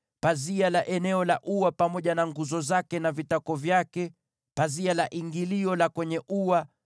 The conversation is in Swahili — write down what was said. pazia la eneo la ua pamoja na nguzo zake na vitako vyake, pazia la ingilio la kwenye ua;